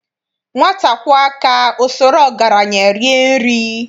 Nwata kwọọ aka,o soro ọgaranye rie nri.